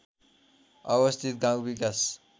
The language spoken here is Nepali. अवस्थित गाउँ विकास